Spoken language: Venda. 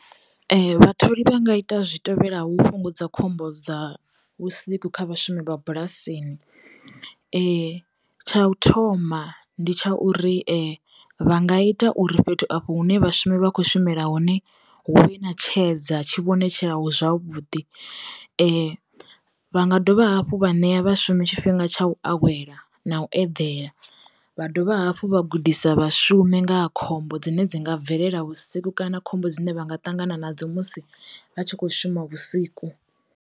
Vha tholi vha nga ita zwi tevhelaho fhungudza khombo dza vhusiku kha vhashumi vha bulasini, tsha u thoma ndi tsha uri vha nga ita uri fhethu afho hune vhashumi vha khou shumela hone hu vhe ṋa tshedza tshi vhonetshelaho zwavhuḓi. Vha nga dovha hafhu vha ṋea vhashumi tshifhinga tsha u awela na u edela, vha dovha hafhu vha gudisa vhashumi nga ha khombo dzine dzi nga bvelela vhusiku kana khombo dzine vha nga ṱangana nadzo musi vha tshi kho shuma vhusiku.